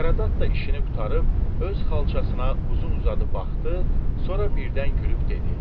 Saqarat da işini qurtarıb öz xalçasına uzun-uzadı baxdı, sonra birdən gülüb dedi: